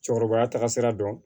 Cɛkɔrɔbaya taga sira dɔn